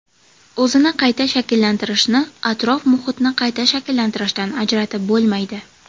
O‘zini qayta shakllantirishni atrof-muhitni qayta shakllantirishdan ajratib bo‘lmaydi.